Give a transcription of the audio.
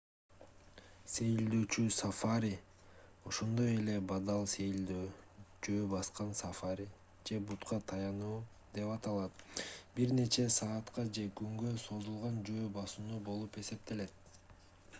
сейилдөөчү сафари ошондой эле бадал сейилдөө жөө баскан сафари же бутка таянуу деп аталат — бир нече саатка же күнгө созулган жөө басуу болуп эсептелет